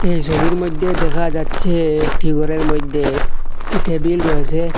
এই ছবির মইধ্যে দেখা যাচ্ছে একটি ঘরের মইধ্যে একটি টেবিল রয়েছে।